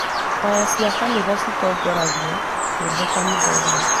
Kwaya cia kanitha citongoragia nyĩmbo kanithainĩ.